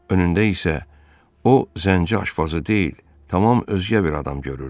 Önündə isə o zənci aşpazı deyil, tamam özgə bir adam görürdü.